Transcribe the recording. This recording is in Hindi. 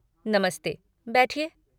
नमस्ते, बैठिए।